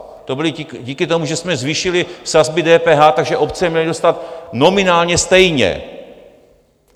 To bylo díky tomu, že jsme zvýšili sazby DPH, takže obce měly dostat nominálně stejně.